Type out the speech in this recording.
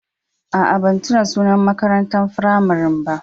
Aa, ban tunna da sunan makarantan firamarin ba.